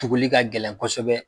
Tuguli ka gɛlɛn kosɛbɛ